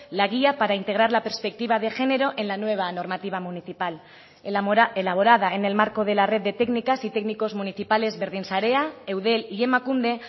la guía para integrar la perspectiva de género en la nueva normativa municipal elaborada en el marco de la red de técnicas y técnicos municipales berdinsarea eudel y emakunde